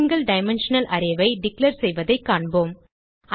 single dimensional array ஐ declare செய்வதைக் காண்போம்